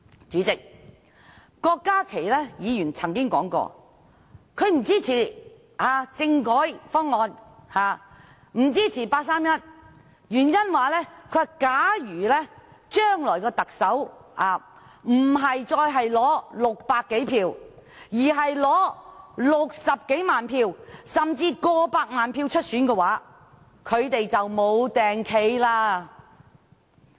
主席，郭家麒議員曾經說不支持政改方案及八三一方案，原因是，假如將來的特首不再是取得600多票，而是取得60多萬票甚至過百萬票出選的話，他們就無地位了。